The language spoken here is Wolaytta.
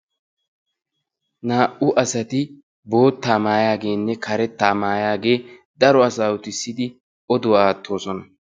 Naa"u asati boottaa mayaageenne karettaa mayaagee daro asaa utissidi oduwa aattoosona.